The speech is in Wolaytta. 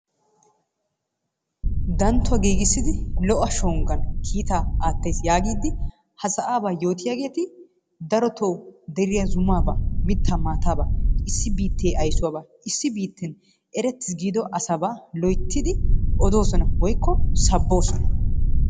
Danttuwaa giigissidi lo'o shonggan kiittaa aattays yaagiidi ha sa'aaba yootiyaageeti daroto deriya zumaaba mitaa maatabaa issi biittee ayssuwaba issi biitten eretis giido asaba loyttidi odosona woykko saboosona.